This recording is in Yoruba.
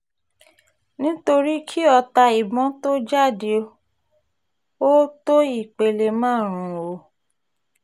nítorí kí ọta ìbọn tóó jáde ó tó ìpele márùn-ún o